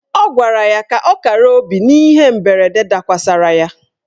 Ọ gwara ya ka ọ kara obi n'ihe mberede dakwasịrị ya.